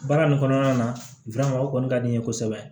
Baara nin kɔnɔna na o kɔni ka di n ye kosɛbɛ